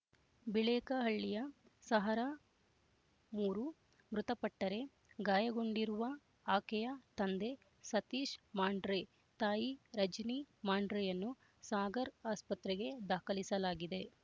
ಬಿಳೇಕಹಳ್ಳಿಯ ಸಹರಾ ಮೂರು ಮೃತಪಟ್ಟರೆ ಗಾಯಗೊಂಡಿರುವ ಆಕೆಯ ತಂದೆ ಸತೀಶ್ ಮಾಂಡ್ರೆ ತಾಯಿ ರಜಿನಿ ಮಾಂಡ್ರೆಯನ್ನು ಸಾಗರ್ ಆಸ್ಪತ್ರೆಗೆ ದಾಖಲಿಸಲಾಗಿದೆ